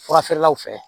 Fura feerelaw fɛ